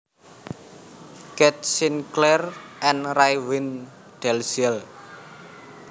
Keith Sinclair and Raewyn Dalziel